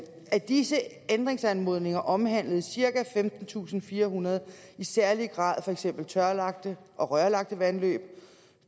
af disse ændringsanmodninger omhandlede cirka femtentusinde og firehundrede i særlig grad for eksempel tørlagte og rørlagte vandløb